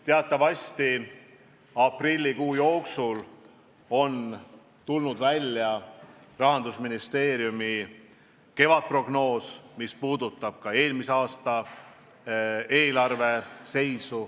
Teatavasti on aprillikuu jooksul välja tulnud Rahandusministeeriumi kevadprognoos, mis puudutab ka eelmise aasta eelarve seisu.